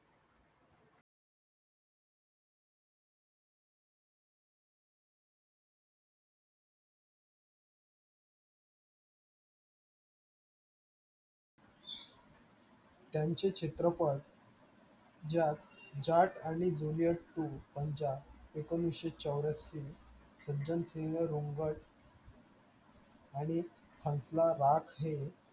त्यांचे चित्रपट ज्यात जाट आणि ज्युलीयेट to पंजाब एकोणीसशे चौऱ्याएंशी सज्जनसिंह रुंगड आणि हंसला राठ हे